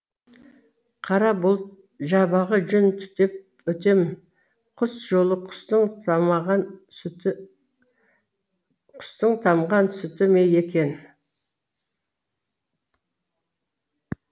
қара бұлт жабағы жүн түтіп өтем құс жолы құстың тамған сүті ме екен